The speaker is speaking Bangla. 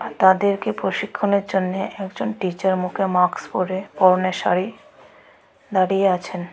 তাদেরকে প্রশিক্ষণের জন্যে একজন টিচার মুখে মাকস পরে পরনে শাড়ি দাড়িয়ে আছেন।